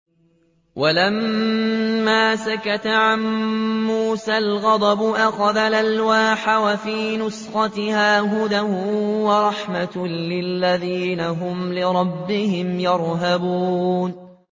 وَلَمَّا سَكَتَ عَن مُّوسَى الْغَضَبُ أَخَذَ الْأَلْوَاحَ ۖ وَفِي نُسْخَتِهَا هُدًى وَرَحْمَةٌ لِّلَّذِينَ هُمْ لِرَبِّهِمْ يَرْهَبُونَ